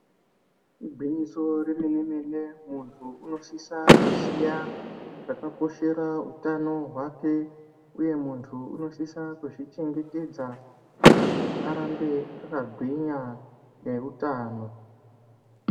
Igwinyiso yemene mene muntu unosise kuziye zvakakoshera utano hwake uye muntu unosise kuzvichengetedza kuti arambe akagwinya neutano.